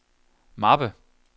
mappe